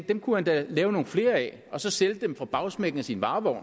dem kunne han da lave nogle flere af og så sælge dem fra bagsmækken af sin varevogn